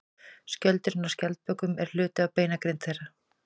Skjöldurinn á skjaldbökum er hluti af beinagrind þeirra.